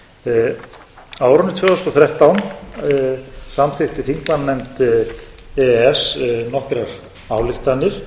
nóvember á árinu tvö þúsund og þrettán samþykkti þingmannanefnd e e s nokkrar ályktanir